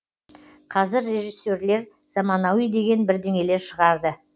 қазір режиссерлер заманауи деген бірдеңелер шығарды